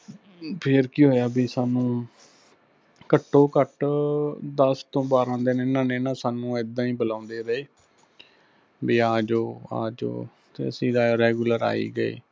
ਫਿਰ ਕੀ ਹੋਇਆ ਬੀ ਸਾਨੂੰ ਘੱਟੋਂ ਘੱਟ ਦਸ ਤੋਂ ਬਾਰ੍ਹਾਂ ਦਿੰਨ ਇਹਨਾਂ ਨੇ ਸਾਨੂੰ ਇੱਦਾਂ ਹੀ ਬੁਲਾਉੰਦੇ ਰਹੇ, ਬੀ ਆਜੋ ਆਜੋ ਤੇ ਅਸੀਂ regular ਆਈ ਗਏ।